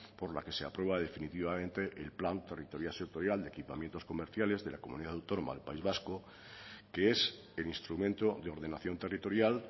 por la que se aprueba definitivamente el plan territorial sectorial de equipamientos comerciales de la comunidad autónoma del país vasco que es el instrumento de ordenación territorial